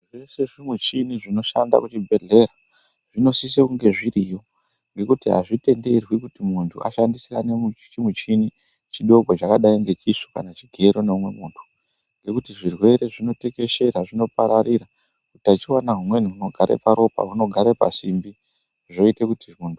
Zveshe zvimichini zvinoshanda kuzvibhedhlera zvinosise kunge zviriyo. Ngekuti hazvitenderwi kuti muntu ashandisirane chimuchini chidoko chakadai nechisvo kana chigero neumwe muntu. Ngekuti zvirwere zvinotekeshera zvinopararira utachivana humweni hunogara paropa hunogara pasimbi zvoite kuti muntu.